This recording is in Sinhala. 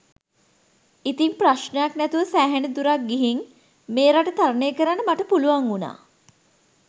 ඉතිං ප්‍රශ්ණයක් නැතුව සෑහෙන දුරක් ගිහිං මේ රට තරණය කරන්න මට පුළුවන් වුණා